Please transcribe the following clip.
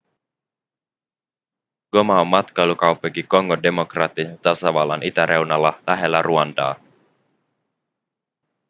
goma on matkailukaupunki kongon demokraattisen tasavallan itäreunalla lähellä ruandaa